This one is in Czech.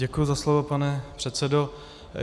Děkuji za slovo, pane předsedo.